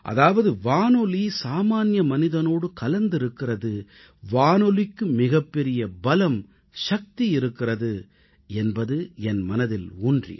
அதாவது வானொலி சாமான்ய மனிதனோடு இரண்டர கலந்திருக்கிறது என்பதை உணர்ந்தேன்